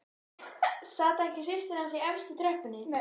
Sat ekki systir hans í efstu tröppunni!